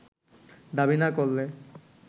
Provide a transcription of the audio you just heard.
দাবি না করলে